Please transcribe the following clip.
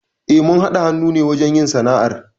Eh, mun haɗa hannu ne wajen yin sana'ar.